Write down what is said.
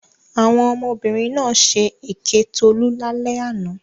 Àwọn ọmọbìnrin náà ṣe èké Tolú lálẹ́ àná.